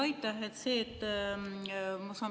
Aitäh!